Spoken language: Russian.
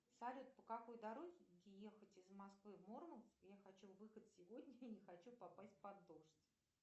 салют по какой дороге ехать из москвы в мурманск я хочу выехать сегодня и не хочу попасть под дождь